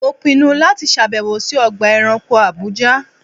Mo pinnu láti ṣàbẹ̀wò sí Ọgbà ẹranko Àbújá.